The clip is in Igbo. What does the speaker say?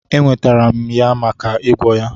Eweterem ya maka igwọ ya.